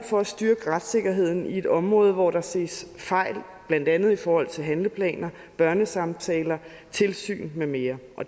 for at styrke retssikkerheden på et område hvor der ses fejl blandt andet i forhold til handleplaner børnesamtaler tilsyn med mere